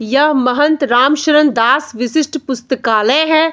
यह महंथ रामशरण दास विशिष्ट पुस्तकालय है।